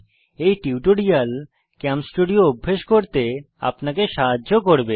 এই tutorial ChemStudio অভ্য়াস করতে আপনাদের সাহায্য করবে